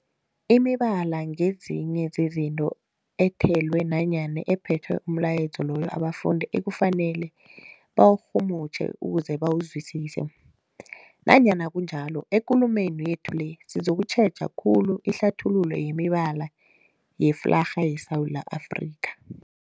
Imibala ngezinye zezinto ethelwe nanyana ephethe umlayezo loyo abantu ekufanele bawurhumutjhe ukuze bawuzwisise. Nanyana kunjalo, ekulumeni yethu le sizokutjheja khulu ihlathululo yemibala yeflarha yeSewula Afrika.